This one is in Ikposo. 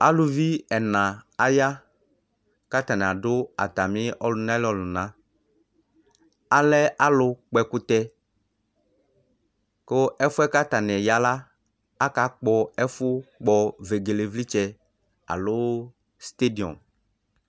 Aluvi ɛna aya, kʋ atani adu ɔlʋnaliawu Alɛ alʋkpɔɛkʋtɛ Kʋ ɛfʋ yɛ kʋ atani ya la, akakpɔ ɛfʋ kpɔ vegelevlitsɛ alo sitediɔmʋ